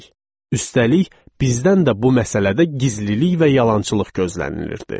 Üstəlik, bizdən də bu məsələdə gizlilik və yalançılıq gözlənilirdi.